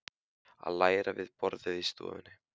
Að læra við borðið í stofunni.